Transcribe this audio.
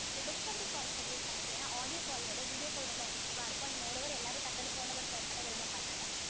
ஒரு discovery call schedule பண்ணிட்டீங்கன்னா audio call விட video call ரொம்ப effective அ இருக்கும் and moreover எல்லாரும் டக்குனு phone number share பண்ண விரும்ப மாட்டாங்க